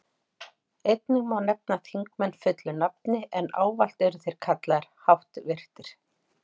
Einnig má nefna þingmenn fullu nafni, en ávallt eru þeir kallaðir háttvirtir.